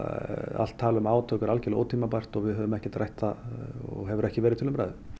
allt tal um átök er algjörlega ótímabært og við höfum ekki rætt það og hefur ekki verið til umræðu